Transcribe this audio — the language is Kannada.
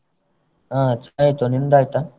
ಹಾ ಚಾ ಆಯ್ತು ನಿಂದಾಯ್ತಾ?